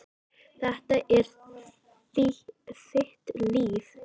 Þetta er þitt líf!